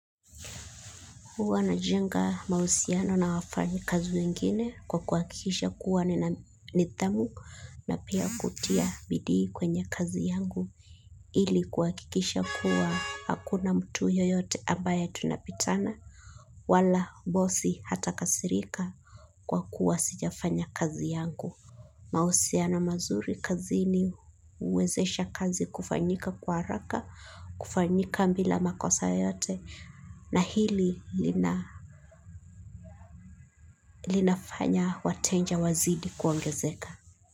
Huwa najenga mahusiano na wafanyi kazi wengine kwa kuhakikisha kuwa nina nidhamu na pia kutia bidii kwenye kazi yangu ili kuakikisha kuwa hakuna mtu yoyote ambaye tunapitana wala bosi hata kasirika kwa kuwa sijafanya kazi yangu. Mahusiano mazuri kazini huwezesha kazi kufanyika kwa haraka, kufanyika bila makosa yote na hili linafanya wateja wazidi kuongezeka.